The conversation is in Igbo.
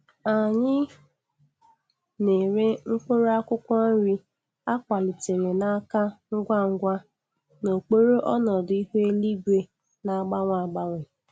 Anyị na-ere mkpụrụ akwụkwọ nri a kwalitere na-aka ngwa ngwa n'okpuru ọnọdụ ihu eluigwe na-agbanwe agbanwe.